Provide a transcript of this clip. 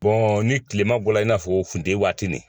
ni kilema bɔra i n'a fɔ funteni waati nin